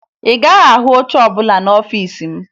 Ị gaghị ahụ oche ọbụla n'ọfiisi m